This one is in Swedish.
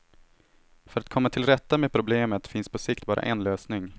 För att komma tillrätta med problemet finns på sikt bara en lösning.